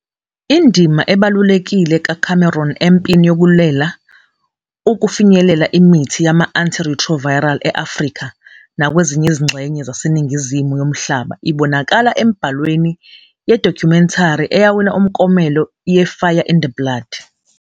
Indima ebalulekile kaCameron empini yokulwela ukufinyelela imithi yama-antiretroviral e-Afrika nakwezinye izingxenye zaseningizimu yomhlaba ibonakala emibhalweni ye-documentary eyawina umklomelo ye-"Fire in the Blood".